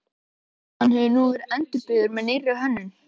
Hann hefur nú verið endurbyggður með nýrri hönnun.